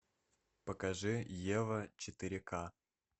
покажи ева четыре ка